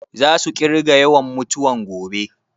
Za su ƙirga yawan mutuwan gobe?